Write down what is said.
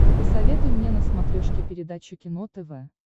посоветуй мне на смотрешке передачу кино тв